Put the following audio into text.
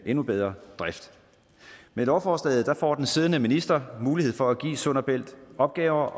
endnu bedre drift med lovforslaget får den siddende minister mulighed for at give sund og bælt opgaver